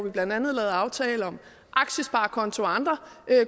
vi blandt andet lavede aftale om aktiesparekonto og andre